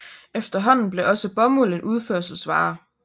Efterhånden blev også bomuld en udførselsvare